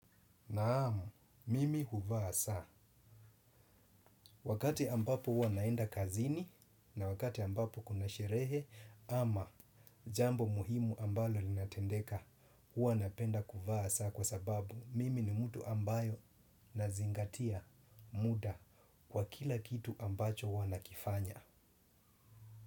Naam, mimi huvaa saa. Wakati ambapo hua naenda kazini na wakati ambapo kuna sherehe ama jambo muhimu ambalo linatendeka hua napenda huvaa saa kwa sababu mimi ni mtu ambayo nazingatia muda kwa kila kitu ambacho hua nakifanya.